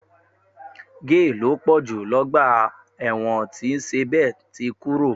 Géè ló pọ̀ jù lọ́gbà ẹ̀wọ̀n tí Sèbé ti kúrò